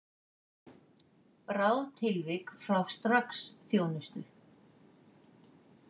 Bráð tilvik fá strax þjónustu